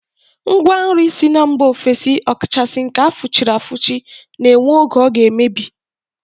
Ngwa nri si mba ofesi ọ kachasị nke a fụchiri afụchi na-enwe oge ọ ga-emebi